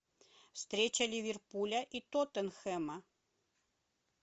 встреча ливерпуля и тоттенхэма